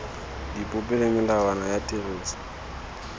dipopi le melawana ya tiriso